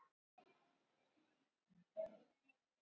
Mjög mikið hefur þar af leiðandi glatast.